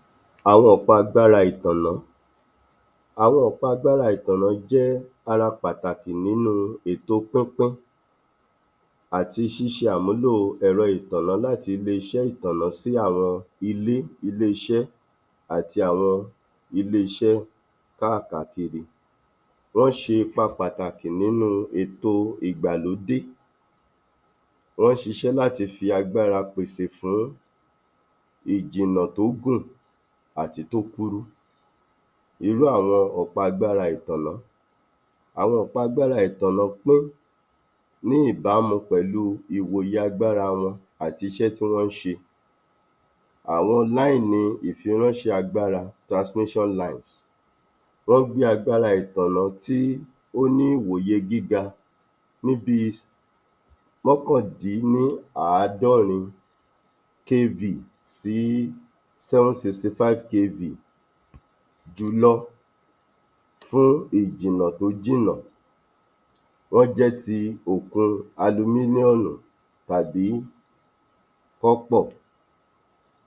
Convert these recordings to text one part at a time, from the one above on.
30. Àwọn ọ̀pá agbára ìtànná Àwọn ọ̀pá agbára ìtànná jẹ́ ara pàtàkì nínú ètò pínpín àti ṣíṣe àmúlò ẹ̀rọ ìtànná láti ilé-iṣẹ́ ìtànná sí àwọn ilé, ilé-iṣẹ́ àti àwọn ilé-iṣẹ́ káàkàkiri. Wọ́n ń ṣe ipa pàtàkì nínú ètò ìgbàlódé, wọ́n ń ṣíṣe láti fi agbára pèsè fún ìjìnà tó gùn àti ìyí tó kúrú. Irú àwọn ọ̀pá agbára ìtànná Àwọn ọ̀pá agbára ìtànná pín ní ìbámu pẹ̀lú ìwòye agbára wọn àti iṣẹ́ tí wọ́n ń ṣe, àwọn láìni ìfiránṣẹ́ agbára transmission line, wọ́n ń gbé agbára ìtànná tí ó ní ìwòye gíga níbi mọ́kàn-dín-ní-àádọ́rin KV sí seven sixty-five KV jùlọ fún ìjìnlẹ̀ tó jìnnà. Wọ́n jẹ́ ti òkun alumílíọ̀nù tàbí kọ́pọ̀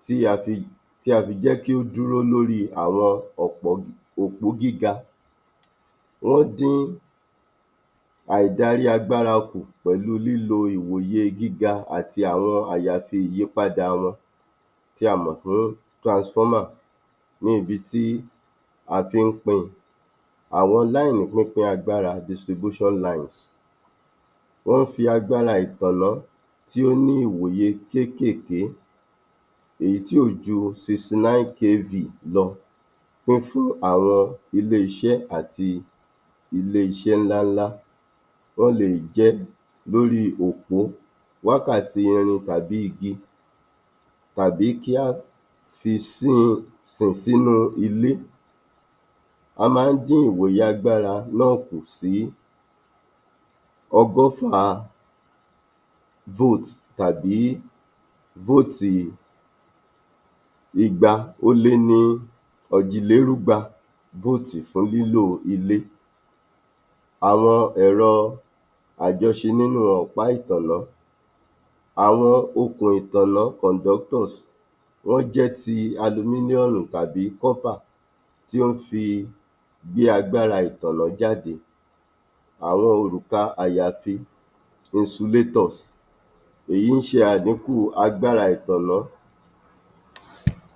tí a fi um tí a fi jẹ́ kí ó dúró lórí àwọn um òpó gíga. Wọ́n dín àìdarí agbára kù pẹ̀lú lílo ìwòye gíga àti àwọn àyàfi ìyípadà wọn tí a mọ̀ fún transformer ní ibi tí a fi ń pín in. Àwọn láìnì pínpin agbára distribution lines, Wọ́n ń fi àgbára ìtànná tí ó ní ìwòye kéékèèké, èyí tí ò ju sixty-nine KV lọ fífún àwọn ilé-iṣẹ́ àti ilé-iṣẹ́ ńláńlá. Wọ́n lè jẹ́ lórí òpó, wákàtí irin tàbí igi tàbí kí á fi sí um sìn sínú ilé. A máa ń dín ìwòye agbára náà kù sí ọgọ́fà volt tàbí fóòtì ìgbà-ó-lé-ní-ọ̀jì-lérúgba fóòtì fún lílò ilé. Àwọn ẹ̀rọ àjọṣe nínú ọ̀pá ìtànná Àwọn okùn ìtànná condoctors, wọ́n jẹ́ ti alumílíọ̀nù tàbí kọ́pà tí ó ń fi gbé agbára ìtànná jáde. Àwọn òrùka àyàfi insulator, èyí ń ṣe àdíkù agbára ìtànná.